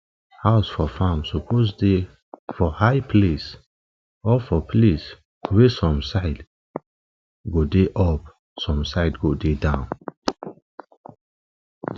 house for farm suppose dey for high place or for place wey some side go dey up some dey go down